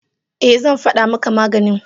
e, zan fada maka maganin.